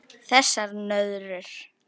Þessar nöðrur!